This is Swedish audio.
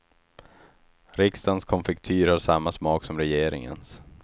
Riksdagens konfektyr har samma smak som regeringens.